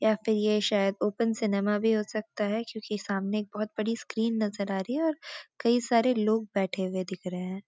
या फिर ये शायद ओपन सिनेमा भी हो सकता है क्योंकि सामने एक बहुत बड़ी स्‍क्रीन नजर आ रही है और कई सारे लोग बैठे हुए दिख रहे हैं।